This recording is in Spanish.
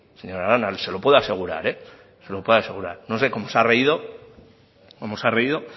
señora arana se lo puedo asegurar no sé como se ha reído